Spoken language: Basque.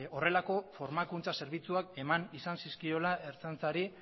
horrelako formakuntza zerbitzuak eman izan zizkiola ertzaintzari